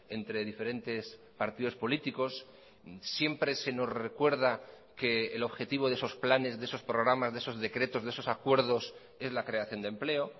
entre diferentes partidos políticos siempre se nos recuerda que el objetivo de esos planes de esos programas de esos decretos de esos acuerdos es la creación de empleo